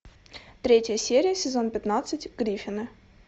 третья серия сезон пятнадцать гриффины